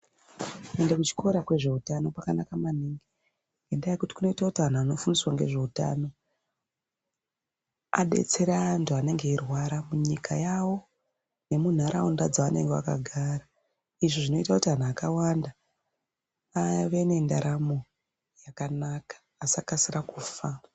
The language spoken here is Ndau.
Kuenda kuchikora kwezveutano kwakanaka maningi ngenda yekuti kunoite kuti antu anofundiswa ngezveutano adetsere antu anenge eirwara munyika yawo nemuntaraunda yavanenge vakagara izvi zvinoite kuti antu akawanda ave nendaramo yakanaka asakasire kufa.